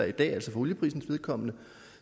i dag altså for olieprisens vedkommende